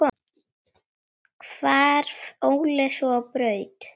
Hvarf Óli svo á braut.